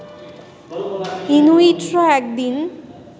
ইনুইটরা একদিন